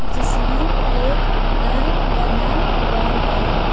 जिसमें एक घर बना हुआ है।